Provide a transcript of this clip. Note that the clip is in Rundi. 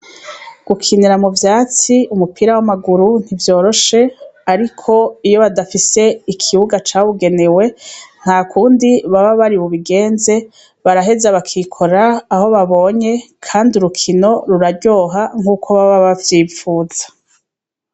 Gukinira mu vyatsi umupira w'amaguru ntivyoroshe, ariko iyo badafise ikibuga cawugenewe ntakundi baba bari bubigenze ,baraheza bakikora aho babonye ,kandi urukino ruraryoha nkuko baba bavyipfuza.